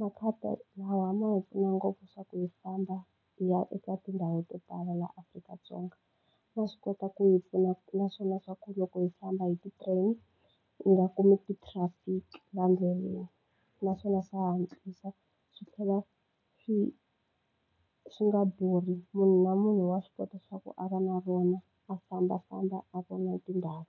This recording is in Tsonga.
makhadi lawa ma hi pfuna ngopfu leswaku hi famba hi ya eka tindhawu to tala laha Afrika-Dzonga. Ma swi kota ku yi pfuna na swona swa ku loko hi famba hi ti-train hi nga kumi ti-traffic laha ndleleni. Naswona swa hatlisa, swi tlhela swi swi nga durhi. Munhu na munhu wa swi kota leswaku a va na rona, a fambafamba a vona tindhawu.